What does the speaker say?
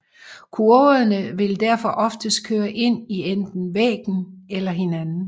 Kurverne vil derfor oftest køre ind i enten væggen eller hinanden